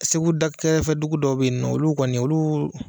Segu dakɛrɛfɛdugu dɔw bɛ ye nɔ olu kɔni olu.